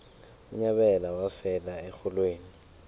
unyabela wafela erholweni